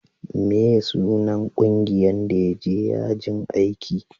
meye sunan ƙungiyan da ya je yajin aiki?